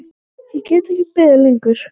Ég get ekki beðið lengur.